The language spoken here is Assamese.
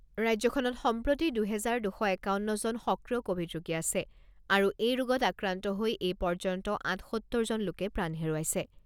ৰাজ্যখনত সম্প্ৰতি দুহেজাৰ দুশ একাৱন্নজন সক্ৰিয় ক'ভিড ৰোগী আছে আৰু এই ৰোগত আক্ৰান্ত হৈ এই পৰ্যন্ত আঠসত্তৰজন লোকে প্ৰাণ হেৰুৱাইছে।